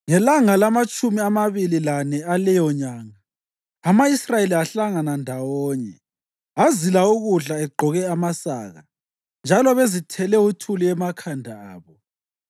Ngelanga lamatshumi amabili lane aleyonyanga, ama-Israyeli ahlangana ndawonye, azila ukudla egqoke amasaka njalo bezithele uthuli emakhanda abo.